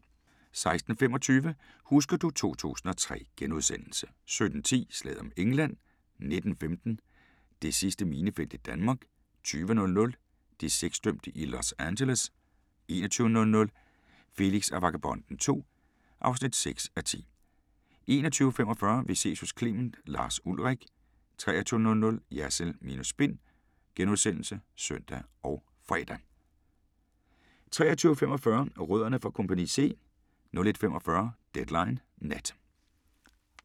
16:25: Husker du ... 2003 * 17:10: Slaget om England 19:15: Det sidste minefelt i Danmark 20:00: De sexdømte i Los Angeles 21:00: Felix og Vagabonden II (6:10) 21:45: Vi ses hos Clement: Lars Ulrich 23:00: Jersild minus spin *(søn og fre) 23:45: Rødderne fra Kompagni C 01:45: Deadline Nat